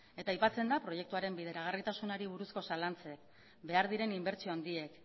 eta aipatzen da proiektuaren bideragarritasunari buruzko zalantzak behar diren inbertsio handiak